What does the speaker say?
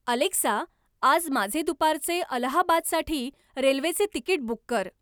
Alexa आज माझे दुपारचे अलाहाबादसाठी रेल्वेचे तिकीट बुक कर